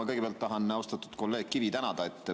Ma kõigepealt tahan austatud kolleeg Kivi tänada.